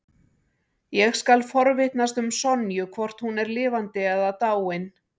Ég skal forvitnast um Sonju, hvort hún er lifandi eða dáin.